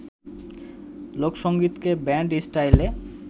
লোকসংগীতকে band স্টাইলে